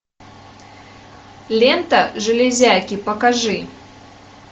лента железяки покажи